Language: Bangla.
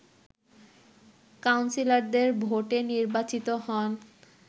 কাউন্সিলরদের ভোটে নির্বাচিত হন